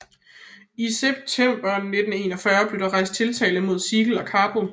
I september 1941 blev der rejst tiltale mod Siegel og Carbo